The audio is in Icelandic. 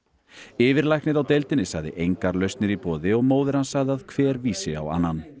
yfirlæknir á deildinni sagði engar lausnir í boði og móðir hans sagði að hver vísi á annan